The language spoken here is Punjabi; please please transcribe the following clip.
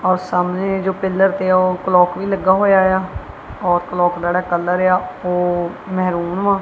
ਹੁਣ ਸਾਹਮਣੇ ਇਹ ਜੋ ਪਿੱਲਰ ਪਿਆ ਉਹ ਕਲੋਕ ਵੀ ਲੱਗਾ ਹੋਇਆ ਆ ਔਰ ਕਲੋਕ ਦਾ ਕਲਰ ਆ ਉਹ ਮਹਰੂਮ ਆ।